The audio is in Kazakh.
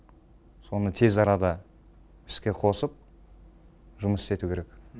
соны тез арада іске қосып жұмыс істету керек